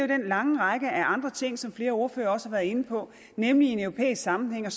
den lange række af andre ting som flere ordførere også har været inde på nemlig i en europæisk sammenhæng at